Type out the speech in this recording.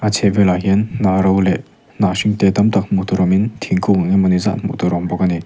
a chhehvelah hian hnah ro leh hnah hring te tam tak hmuh tur awmin thingkung engemawni zat hmuh tur a a awm bawk ani.